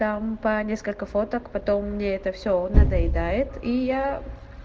там по несколько фоток потом мне это всё надоедает и я